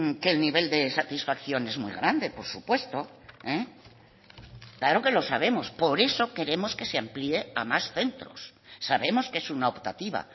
que el nivel de satisfacción es muy grande por supuesto claro que lo sabemos por eso queremos que se amplíe a más centros sabemos que es una optativa